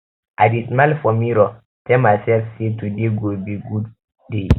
i dey smile for mirror tell mysef say um today go be um good day